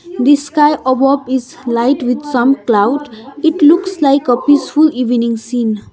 this sky above is light with some cloud it looks like a peaceful evening scene.